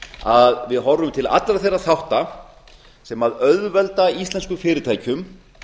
að við horfum til allra þeirra þátta sem auðvelda íslenskum fyrirtækjum